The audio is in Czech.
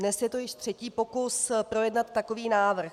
Dnes je to již třetí pokus projednat takový návrh.